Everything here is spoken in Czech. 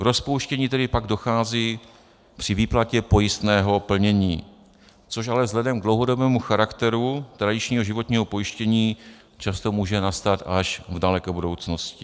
K rozpouštění tedy pak dochází při výplatě pojistného plnění, což ale vzhledem k dlouhodobému charakteru tradičního životního pojištění často může nastat až v daleké budoucnosti.